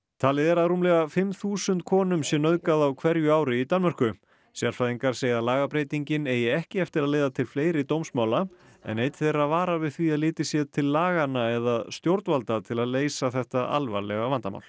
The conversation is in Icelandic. talið er að rúmlega fimm þúsund konum sé nauðgað á hverju ári í Danmörku sérfræðingar segja að lagabreytingin eigi ekki eftir að leiða til fleiri dómsmála en einn þeirra varar við því að litið sé til laganna eða stjórnvalda til að leysa þetta alvarlega vandamál